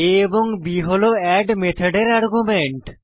আ b হল add মেথডের argument